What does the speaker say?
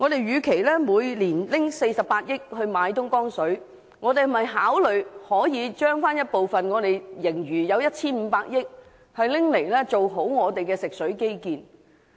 與其每年花費48億元購買東江水，不如考慮撥出 1,500 億元盈餘的其中一部分，做好本地的食水基建。